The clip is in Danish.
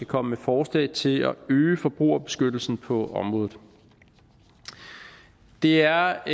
komme med forslag til at øge forbrugerbeskyttelsen på området det er